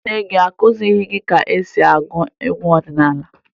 Nne gị akụziri ha ka e si agụ egwu ọdịnaala?